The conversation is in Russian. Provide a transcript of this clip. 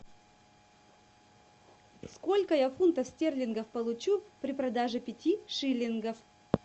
сколько я фунтов стерлингов получу при продаже пяти шиллингов